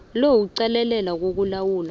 lo kuqalelela ukulawulwa